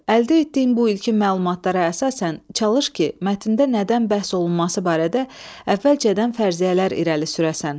Əldə etdiyin bu ilkin məlumatlara əsasən çalış ki, mətndə nədən bəhs olunması barədə əvvəlcədən fərziyyələr irəli sürəsən.